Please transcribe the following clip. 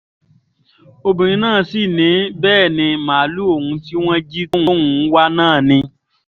obìnrin náà sì ni bẹ́ẹ̀ ní màálùú òun tí wọ́n jí tóun ń wá náà ni